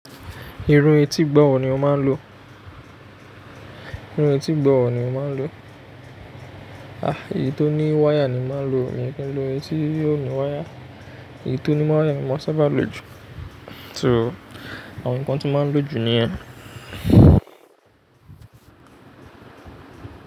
Iru etígbọ̀wọ́ ni mo máa ń lo. Irun etígbọ̀wọ́ ni mo máa ń lo. Ah, èyí tó ní wáyà ni mo máa ń lo, mi ò ní ki ń lo etí tí ò ní wáyà. Èyí tó ní wáyà ni mo sábà ń lo jù. Nitori naa, àwọn nǹkan tí mo máa ń lo jù ni ẹ.